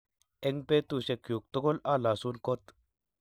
Eng' betusiekyuk tugul. Alasun kot